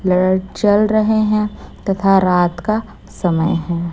लर चल रहे हैं तथा रात का समय है।